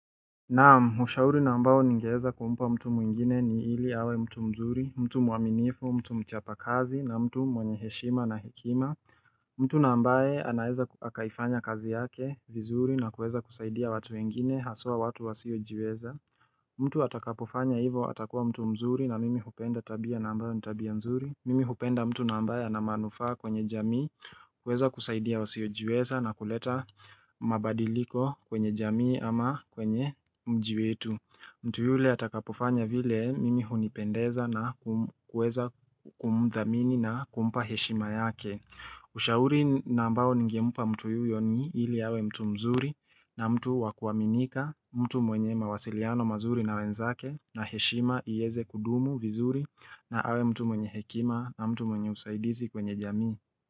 Naam, ushauri na ambao ningeweza kumpa mtu mwingine ni hili awe mtu mzuri, mtu mwaminifu, mtu mchapa kazi na mtu mwenye heshima na hekima mtu na ambaye anaeza akaifanya kazi yake vizuri na kuweza kusaidia watu wengine haswa watu wasiojiweza mtu atakapofanya hivo atakuwa mtu mzuri na mimi hupenda tabia na ambayo ni tabia nzuri Mimi hupenda mtu na mbaye ana manufaa kwenye jamii kuweza kusaidia wasiojiweza na kuleta mabadiliko kwenye jamii ama kwenye mji wetu mtu yule atakapofanya vile mimi hunipendeza na kuweza kumthamini na kumpa heshima yake Ushauri na ambao nigemmpa mtu yuyo ni ili awe mtu mzuri na mtu wa kuaminika mtu mwenye mawasiliano mazuri na wenzake na heshima iweze kudumu vizuri na awe mtu mwenye hekima na mtu mwenye usaidizi kwenye jamii.